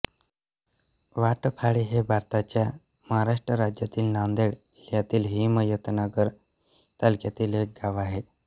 वाटफाळी हे भारताच्या महाराष्ट्र राज्यातील नांदेड जिल्ह्यातील हिमायतनगर तालुक्यातील एक गाव आहे